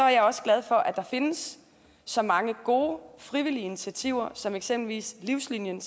jeg også glad for at der findes så mange gode frivillige initiativer som eksempelvis livslinien